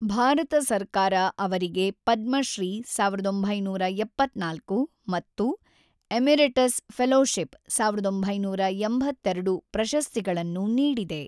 ಭಾರತ ಸರ್ಕಾರ ಅವರಿಗೆ ಪದ್ಮಶ್ರೀ (೧೯೭೪) ಮತ್ತು ಎಮೆರಿಟಸ್ ಫೆಲೋಶಿಪ್ (೧೯೮೨) ಪ್ರಶಸ್ತಿಗಳನ್ನು ನೀಡಿದೆ.